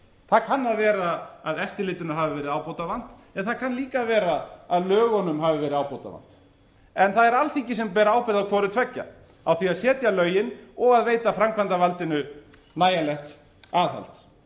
það kann að vera að eftirlitinu hafi verið ábótavant en það kann líka að vera að lögunum hafi verið ábótavant en það er alþingi sem ber ábyrgð á hvorutveggja á því að setja lögin og að veita framkvæmdarvaldinu nægjanlegt aðhald